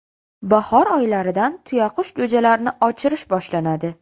Bahor oylaridan tuyaqush jo‘jalarini ochirish boshlanadi.